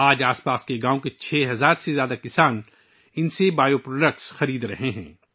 آج آس پاس کے گاؤوں کے 6 ہزار سے زیادہ کسان ان سے بائیو پروڈکٹس خرید رہے ہیں